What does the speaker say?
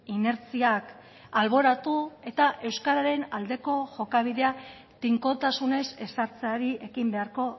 inertziak alboratu eta euskararen aldeko jokabidea tinkotasunez ezartzeari ekin beharko